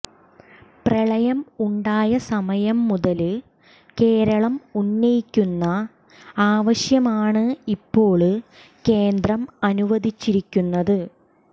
പ്രളയം ഉണ്ടായ സമയം മുതല് കേരളം ഉന്നയിക്കുന്ന ആവശ്യമാണ് ഇപ്പോള് കേന്ദ്രം അനുവദിച്ചിരിക്കുന്നത്